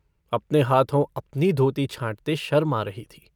अपने हाथों अपनी धोती छाँटते शर्म आ रही थी।